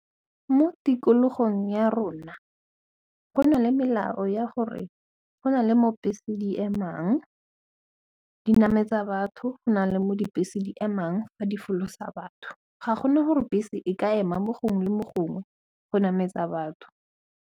Mo tikologong ya rona go na le melao ya gore go na le mo bese di emang di nametsa batho, go na le mo dibese di emang fa di folosa batho ga go na gore bese e ka ema mo gongwe le mo gongwe go nametsa batho.